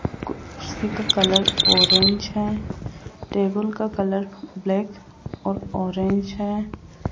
कुर्सी का colour orange है टेबल का कलर ब्लैक और ऑरेंज है।